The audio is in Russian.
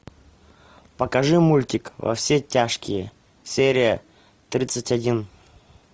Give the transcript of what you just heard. покажи мультик во все тяжкие серия тридцать один